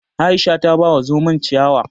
Aisha ta ba wa zomon ciyawa